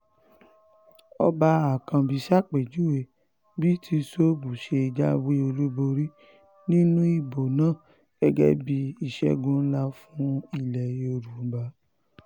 ọba um àkànbí ṣàpèjúwe bí tìṣóbù ṣe jáwé olúborí um nínú ìbò náà gẹ́gẹ́ bíi ìṣègùn ńlá fún ilẹ̀ yorùbá